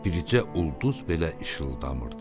Bircə ulduz belə işıldamırdı.